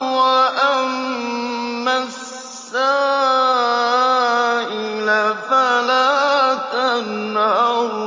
وَأَمَّا السَّائِلَ فَلَا تَنْهَرْ